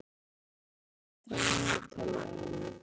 Ebbi, hvað er mikið eftir af niðurteljaranum?